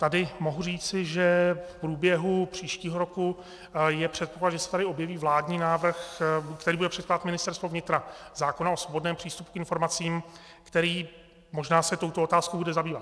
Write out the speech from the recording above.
Tady mohu říci, že v průběhu příštího roku je předpoklad, že se tady objeví vládní návrh - který bude předkládat Ministerstvo vnitra - zákona o svobodném přístupu k informacím, který možná se touto otázkou bude zabývat.